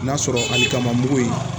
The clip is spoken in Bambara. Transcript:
N'a sɔrɔ ali kaman mugu in